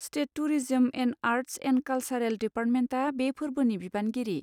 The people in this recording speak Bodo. State tourism and arts and कालसारेल दिपार्टमेन्टा बे फोर्बोनि बिबानगिरि।